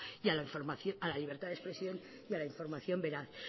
a la libertad de expresión y a la información veraz